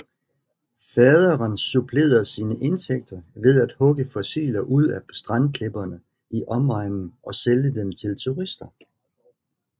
Faderen supplerede sine indtægter ved at hugge fossiler ud af strandklipperne i omegnen og sælge dem til turister